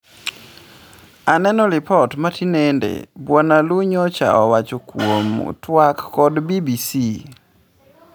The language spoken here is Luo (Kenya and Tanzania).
"Aneno lipot ma tinende," Bwana Lu nyocha owach kwuom twak kod BBC.